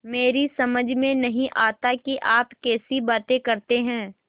मेरी समझ में नहीं आता कि आप कैसी बातें करते हैं